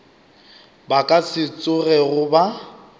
ba ka se tsogego ba